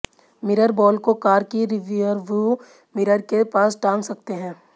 mirror ball को car की rear view mirror के पास टांग सकते हैं